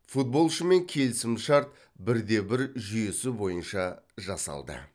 футболшымен келісімшарт бір де бір жүйесі бойынша жасалды